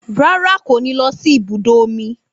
Rárá kò ní lọ sí ibi ibùdó omi